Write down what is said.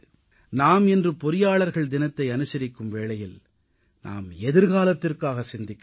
நாம் இன்று பொறியாளர்கள் தினத்தை அனுசரிக்கும் வேளையில் நாம் எதிர்காலத்திற்காக சிந்திக்க வேண்டும்